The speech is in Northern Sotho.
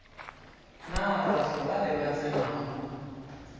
na batho bale ba tsenago